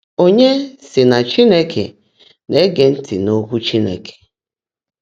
Ónyé sí ná Chínekè ná-ège ntị́ n’ókwụ́ Chínekè.